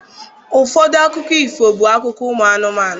Ụfọdụ akụkọ ifo bụ akụkọ ụmụ anụmanụ.